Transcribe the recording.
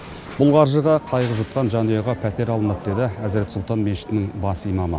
бұл қаржыға қайғы жұтқан жанұяға пәтер алынады деді әзірет сұлтан мешітінің бас имамы